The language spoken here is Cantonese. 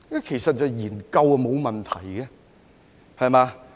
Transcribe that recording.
其實研究是沒有問題的，對嗎？